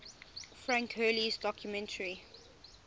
frank hurley's documentary